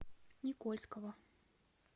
никольского